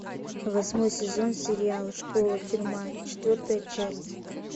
восьмой сезон сериала школа тюрьма четвертая часть